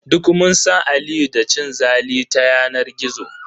Duk mun san Aliyu da cin zali ta yanar gizo.